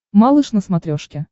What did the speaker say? малыш на смотрешке